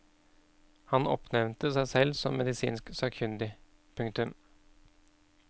Han oppnevnte seg selv som medisinsk sakkyndig. punktum